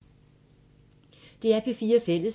DR P4 Fælles